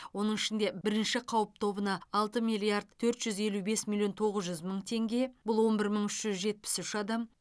оның ішінде бірінші қауіп тобына алты миллиард төрт жүз елу бес миллион тоғыз жүз мың теңге бұл он бір мың үш жүз жетпіс үш адам